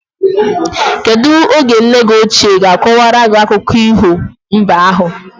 Kedu oge nne gi oche ga akowa gi akụkọ iho mbe ahu?